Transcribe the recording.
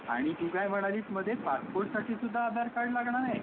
अच्छा. आणि तू काय म्हणालीस मध्ये पासपोर्ट साठी सुद्धा आधार लागणार आहे?